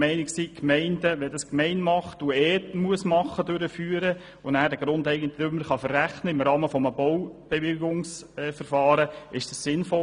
Wenn die Gemeinden das durchführen müssen, erscheint es uns sinnvoller, wenn sie es den Grundeigentümern im Rahmen eines Baubewilligungsverfahrens verrechnen können.